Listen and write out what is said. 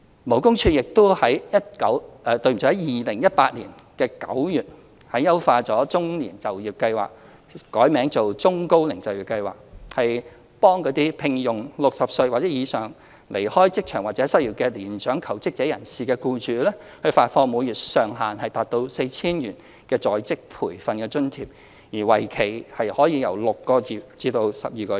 勞工處亦於2018年9月優化"中年就業計劃"，並易名為"中高齡就業計劃"，向聘用60歲或以上已離開職場或失業的年長求職人士的僱主，發放每月上限 4,000 元的在職培訓津貼，為期6至12個月。